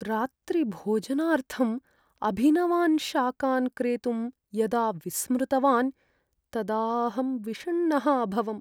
रात्रिभोजनार्थम् अभिनवान् शाकान् क्रेतुं यदा विस्मृतवान् तदा अहं विषण्णः अभवम्।